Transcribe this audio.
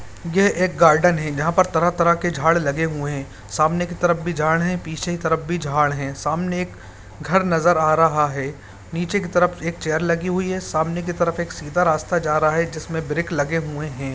यह एक गार्डन है जहाँ पर तरह-तरह के झाड़ लगे हुए हैं सामने की तरफ भी झाड़ है पीछे की तरफ भी झाड़ है समने एक घर नजर आ रहा है नीचे की तरफ चेयर लगी हुई है सामने की तरफ एक सीधा रास्ता जा रहा है जिसमें ब्रिक लगे हुए हैं।